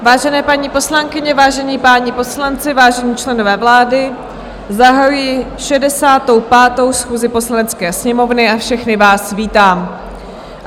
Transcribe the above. Vážené paní poslankyně, vážení páni poslanci, vážení členové vlády, zahajuji 65. schůzi Poslanecké sněmovny a všechny vás vítám.